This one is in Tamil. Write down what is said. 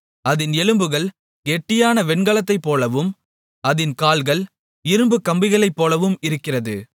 அதின் எலும்புகள் கெட்டியான வெண்கலத்தைப்போலவும் அதின் கால்கள் இரும்புக் கம்பிகளைப்போலவும் இருக்கிறது